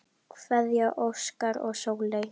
Kveðja, Óskar og Sóley.